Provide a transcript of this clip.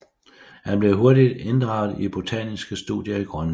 Han blev hurtigt inddraget i botaniske studier i Grønland